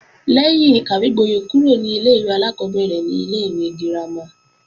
Lẹ́yìn ìkàwégbóyè kúrò ní ilé-ìwé alákọ́bẹ̀rẹ̀ ni ilé-ìwé girama